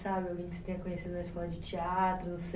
Sabe, alguém que você tenha conhecido na escola de teatro